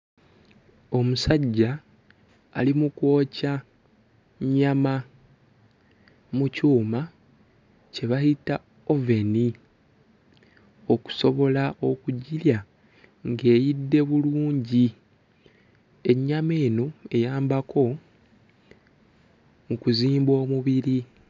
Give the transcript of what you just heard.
Omusajja ali mu kwokya nnyama mu kyuma kye bayita oven okusobola okugirya ng'eyidde bulungi, ennyama eno eyambako mu kuzimba omubiri.